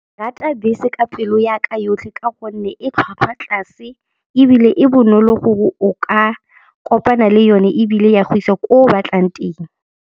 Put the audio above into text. Rata bese ka pelo ya ka yotlhe ka gonne e tlhwatlhwa tlase ebile e bonolo gore o ka kopana le yone ebile ya go isa ko o batlang teng.